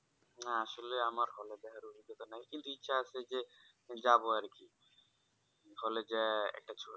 না আসলে আমার hall কিন্তু ইচ্ছা আছে যাবো আর কি hall যেয়ে একটা ছবি